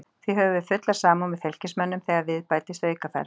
Því höfum við fulla samúð með Fylkismönnum þegar við bætist aukaferð.